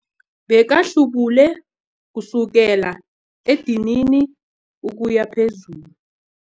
Bekahlubule kusukela edinini ukuya phezulu.